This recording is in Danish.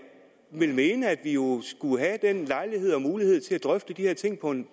vil mene at vi jo skulle have den lejlighed og mulighed til at drøfte de her ting på en